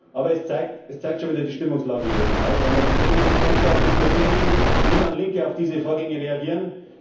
Aber es zeigt schon wieder die Stimmungslage hier im Haus, wenn man die Themen ernsthaft diskutieren will, wie dann Linke auf diese Vorgänge reagieren.